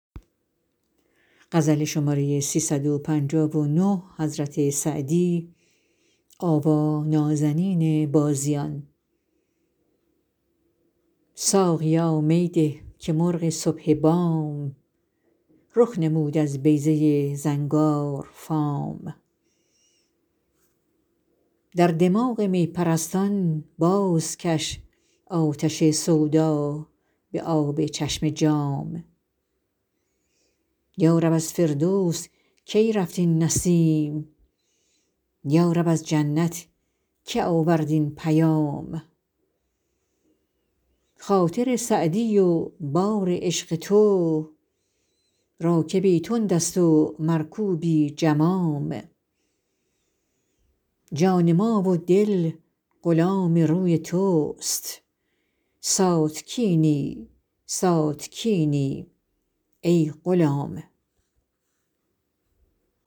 ساقیا می ده که مرغ صبح بام رخ نمود از بیضه زنگارفام در دماغ می پرستان بازکش آتش سودا به آب چشم جام یا رب از فردوس کی رفت این نسیم یا رب از جنت که آورد این پیام خاطر سعدی و بار عشق تو راکبی تند است و مرکوبی جمام جان ما و دل غلام روی توست ساتکینی ساتکینی ای غلام